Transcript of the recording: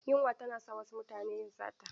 Yunwa tana sa wasu su yi sata.